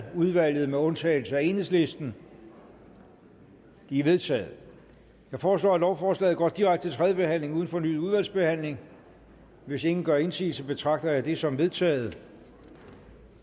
udvalget med undtagelse af enhedslisten de er vedtaget jeg foreslår at lovforslaget går direkte til tredje behandling uden fornyet udvalgsbehandling hvis ingen gør indsigelse betragter jeg det som vedtaget